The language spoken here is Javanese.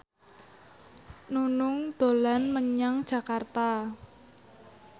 Nunung dolan menyang Jakarta